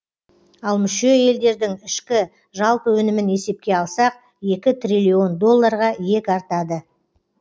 ал мүше елдердің ішкі жалпы өнімін есепке алсақ екі триллион доллларға иек артады